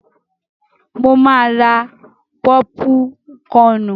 Mo máa ra pọ́púkọnù.